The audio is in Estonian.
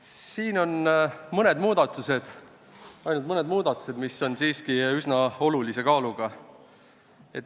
Siin on tehtud ainult mõned muudatused, mis on siiski üsna olulise kaaluga.